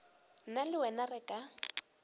nna le wena re ka